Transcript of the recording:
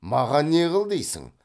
маған не қыл дейсің